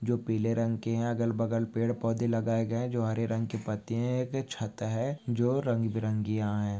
जो पीले रंग के हैं अगर बगल पेड़ पौधे लगाए गए जो हरे रंग के पत्ते हैं यह छत हैं जो रंगबिरंगी यहाँ है।